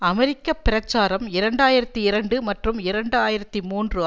அமெரிக்க பிரச்சாரம் இரண்டு ஆயிரத்தி இரண்டு மற்றும் இரண்டு ஆயிரத்தி மூன்று